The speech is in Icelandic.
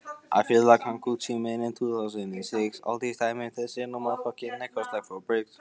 Af hverju var ég ekki einsog hinir?